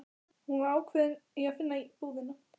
Hún var ákveðin í að finna búðina.